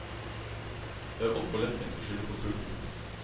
Det er altfor lettvint å skylde på publikum.